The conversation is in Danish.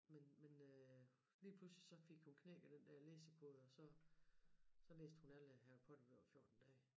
Men men øh lige pludselig så fik hun knækket den der læsekode og så så læste hun alle Harry Potter-bøger på 14 dage